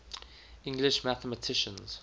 english mathematicians